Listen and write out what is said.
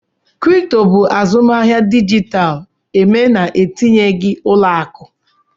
Kripto bụ azụmahịa dijitalụ eme na-etinyeghị ụlọ akụ